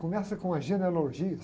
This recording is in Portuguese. Começa com as genealogias.